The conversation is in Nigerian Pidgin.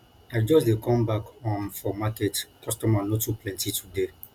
i just dey come back um for market customer no too plenty today